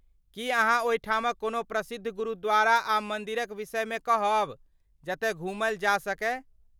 की अहाँ ओहिठामक कोनो प्रसिद्ध गुरुद्वारा आ मन्दिरक विषयमे कहब, जतए घूमल जा सकए।